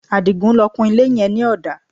Adigun ló kun ilé yẹn ní ọ̀dà